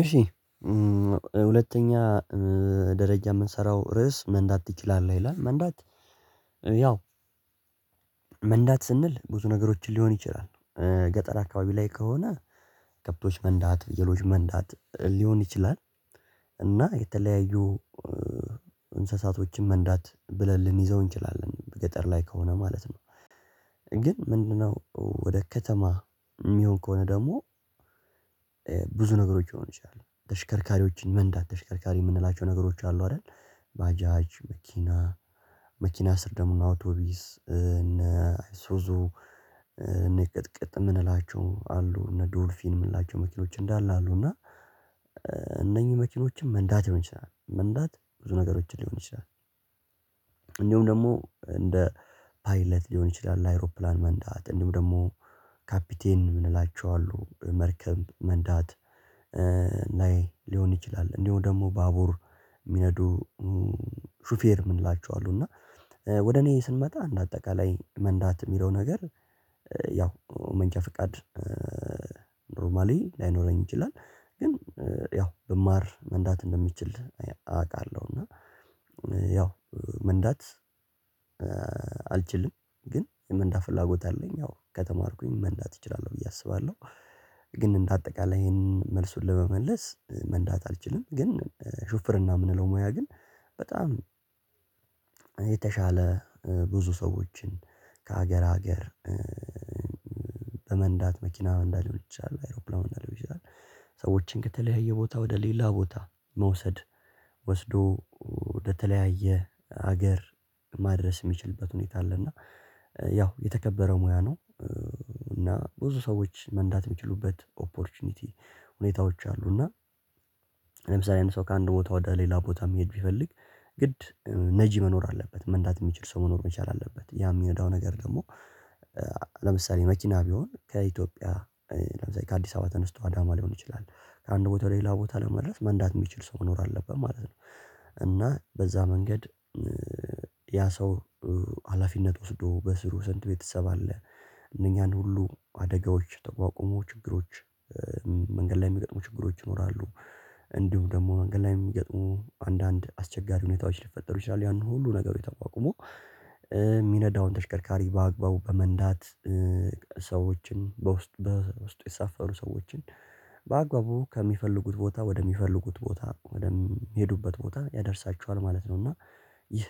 እሺ ሁለተኛ ደረጃ የምንሰራው ርዕስ መንዳት ይችላል። ይላል መንዳት ያው መንዳት ስንል ብዙ ነገሮችን ሊሆን ይችላል። ገጠር አካባቢ ላይ ከሆነ ገብቶች መንዳት ፍየሎች መንዳት ሊሆን ይችላል። እና የተለያዩ እንስሳቶችን መንዳት ብለን ልንይዘው እንችላለን በገጠር ላይ ከሆነ ማለት ነው። ግን ምንድነው? ወደ ከተማ የሚሆን ከሆነ ደግሞ ብዙ ነገሮች ሊሆን ይሻላል ተሽከርካሪዎችን መንዳት ተሽከርካሪ የምንላቸው ነገሮች አሉ አይደል? ባጃጅ፤ መኪና መኪና ስር ደሞ አውቶቢስ እነ አይሱዙ ቅጥቅጥ የምንላቸው አሉ እነ ዶልፊን የምንላቸው መኪኖች እንዳለ አሉ እና እነኚህ መኪኖችን መንዳት ሊሆን ይችላል መንዳት ብዙ ነገሮችን ሊሆን ይችላል። እንደውም ደግሞ እንደ ፓይለት ሊሆን ይችላል። አይሮፕላን መንዳት እንደውም ደግሞ ካፒቴን የምንላቸው አሉ መርከብ መንዳት ላይ ሊሆን ይችላል። እንደውም ደግሞ ባቡር ሚነዱ ሹፌር የምንላቸው አሉ። እና ወደ እኔ ስንመጣ እንደ አጠቃላይ መንዳት የሚለው ነገር ያው መንጃ ፍቃድ ኖርማሊ ላይኖረኝ ይችላል። ግን ያው ብማር መንዳት እንደምችል አቃለሁ። እና ያው መንዳት አልችልም ግን የመንዳ ፍላጎት አለኝ አዎ ከተማርኩኝ መንዳት እችላለሁ ብዬ አስባለሁ። ግን እንደ አጠቃላይ ይሄንን መልሱን ለመመለስ መንዳት አልችልም ግን ሹፍርና የምንለው ሙያ ግን በጣም የተሻለ ብዙ ሰዎችን ከሀገር ሀገር በመንዳት መኪና መንዳት ሊሆን ይቻላል አይሮፕላን መንዳት ሊሆን ይቻላል። ሰዎችን ከተለየ ቦታ ወደ ሌላ ቦታ መውሰድ ወስዶ ወደተለያየ ሀገር ማድረስ የሚችልበት ሁኔታ አለ። እና ያው የተከበረ ሙያ ነው። እና ብዙ ሰዎች መንዳት የሚችሉበት ኦፖርቹኒቲ ሁኔታዎች አሉ። እና ለምሳሌ አንድ ሰው ከአንድ ቦታ ወደ ሌላ ቦታ መሄድ ቢፈልግ ና ግድ ነጂ መኖር አለበት መንዳት የሚችል ሰው መኖር መቻል አለበት። ያ የሚነዳው ነገር ደግሞ ለምሳሌ መኪና ቢሆን ከኢትዮጵያ ለምሳሌ ከአዲስ አበባ ተነስቶ አዳማ ሊሆን ይችላል ከአንድ ቦታ ሌላ ቦታ ለመድረስ መንዳት የሚችል ሰው መኖር አለብን ማለት ነው። እና በዛ መንገድ ያ ሰው ሀላፊነት ወስዶ በስሩ ሰንት ቤተሰብ አለ። እነኛን ሁሉ አደጋዎች ተቋቁሞ ችግሮች መንገድ ላይ የሚገጥሙ ችግሮች ይኖራሉ። እንዲሁ ደግሞ መንገድ ላይ የሚገጥሙ አንዳንድ አስቸጋሪ ሁኔታዎች ሊፈጠሩ ይችላሉ። ያንን ሁሉ ነገሩ የተቋቁሞ የሚነዳውን ተሽከርካሪ በአግባቡ በመንዳት ሰዎችን በውስጥ የተሳፈሩ ሰዎችን በአግባቡ ከሚፈልጉት ቦታ ወደሚፈልጉት ቦታ ወደሚሄዱበት ቦታ ያደርሳቸዋል ማለት ነው። እና ይህ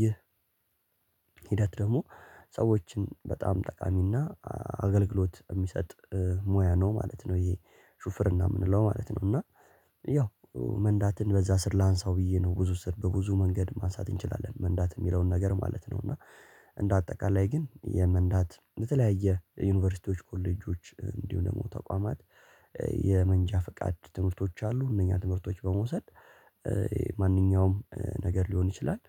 ይህ ሂደት ደግሞ ሰዎችን በጣም ጠቃሚና አገልግሎት የሚሰጥ ሙያ ነው ማለት ነው። ይሄ ሹፍርና የምንለው ማለት ነው። እና ያው መንዳትን በዛ ስር ላንሳው ብዬ ነው ብዙ ስር በብዙ መንገድ ማንሳት እንችላለን መንዳት የሚለውን ነገር ማለት ነው። እና እንደ አጠቃላይ ግን የመንዳት በተለያየ የዩኒቨርሲቲዎች ኮሌጆች እንዲሁ ደግሞ ተቋማት የመንጃ ፍቃድ ትምህርቶች አሉ። እነኛ ትምህርቶች በመውሰድ ማንኛውም ነገር ሊሆን ይችላል።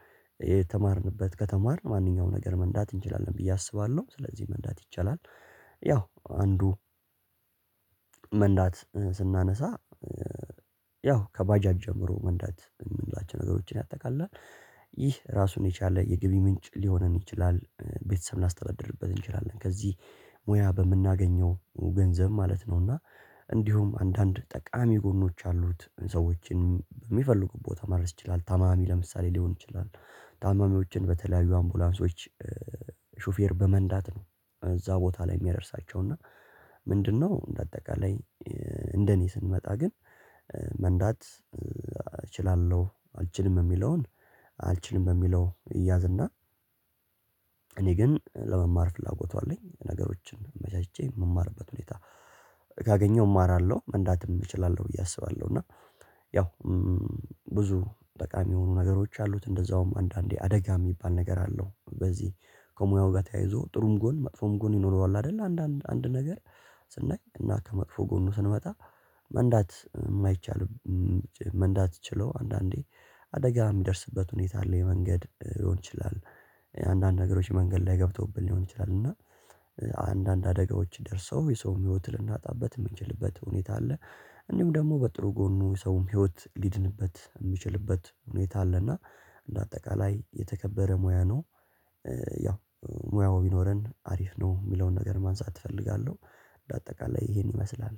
የተማርንበት ከተማርን ማንኛውም ነገር መንዳት እንችላለን ብዬ አስባለሁ ስለዚህ መንዳት ይቻላል። ያው አንዱ መንዳት ስናነሳ ያው ከባጃት ጀምሮ መንዳት የምንላቸው ነገሮችን ያጠቃልላል። ይህ ራሱን የቻለ የግብይ ምንጭ ሊሆንን ይችላል ቤተሰብ ላስተዳድርበት እንችላለን ከዚህ ሙያ በምናገኘው ገንዘብ ማለት ነው። እና እንዲሁም አንዳንድ ጠቃሚ ጎኖች አሉት። ሰዎችን ሚፈልጉት ቦታ ማድረስ ይችላል ታማሚ ለምሳሌ ሊሆን ይችላል። ታማሚዎችን በተለያዩ አምቡላንሶች ሹፌር በመንዳት ነው እዛ ቦታ ላይ የሚያደርሳቸው እና። ምንድነው? እንደ አጠቃላይ እንደኔ ስንመጣ ግን መንዳት እችላለሁ አልችልም የሚለውን አልችልም በሚለው ይያዝና እኔ ግን ለመማር ፍላጎቷ አለኝ ነገሮችን አመቻችቼ የምማርበት ሁኔታ ካገኘሁ እማራለሁ መንዳትም እችላለሁ ብዬ አስባለሁ። እና ያው ብዙ ጠቃሚ የሆኑ ነገሮች አሉት። እንደዛውም አንዳንዴ አደጋ የሚባል ነገር አለው። በዚህ ከሙያው ጋር ተያይዞ ጥሩም ጎን መጥፎም ጎን ይኖረዋል አይደል? አንዳንድ አንድ ነገር ስናይ እና ከመጥፎ ጎኑ ስንመጣ መንዳት የማይቻል መንዳት ችሎ አንዳንዴ አደጋ የሚደርስበት ሁኔታ አለ። የመንገድ ሊሆን ይችላል። አንዳንድ ነገሮች መንገድ ላይ ገብተውብን ሊሆን ይችላል። እና አንዳንድ አደጋዎች ደርሰው የሰውን ህይወት ልናጣበት የምንችልበት ሁኔታ አለ። እኔም ደግሞ በጥሩ ጎኑ የሰውም ህይወት ሊድንበት የሚችልበት ሁኔታ አለ። እና እንደ አጠቃላይ የተከበረ ሙያ ነው። ያው ሙያው ቢኖረን አሪፍ ነው። የሚለውን ነገር ማንሳት እፈልጋለሁ። እንደ አጠቃላይ ይሄን ይመስላል።